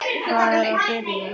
Það er að byrja.